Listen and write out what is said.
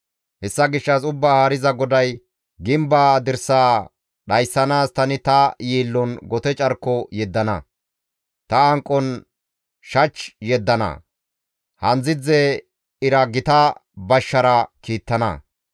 Hessa gishshas Ubbaa Haariza GODAY, «Gimbe dirsaa dhayssanaas tani ta yiillon gote carko yeddana; ta hanqon shach yeddana; handzdzidze ira gita bashshara kiittana.